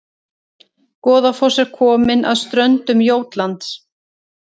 Goðafoss er komin að ströndum Jótlands